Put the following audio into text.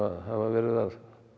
hafa verið að